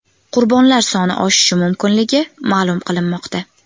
Qurbonlar soni oshishi mumkinligi ma’lum qilinmoqda.